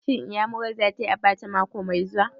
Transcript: Shin Iyamurar za ta yi abacha mako mai zuwa?